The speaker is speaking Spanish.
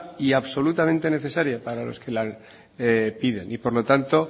y absolutamente necesaria para los que la piden y por lo tanto